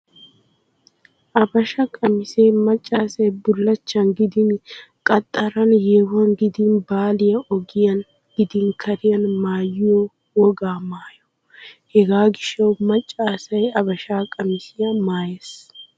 Abasha qamisee maccaa asay bullachchan gidin qaxxaran, yeehuwan gidiin baliya, ogiyan gidin kariyan maayiyo wogaa maayo. Hegaa gishshawu maccaa asay abasha qamisiyaa maayees.